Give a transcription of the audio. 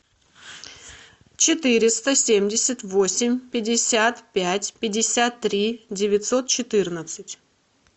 четыреста семьдесят восемь пятьдесят пять пятьдесят три девятьсот четырнадцать